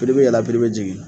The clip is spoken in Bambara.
Piri be yɛlɛ a piri be jigin